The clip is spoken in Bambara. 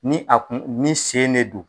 Ni a kun ni sen ne don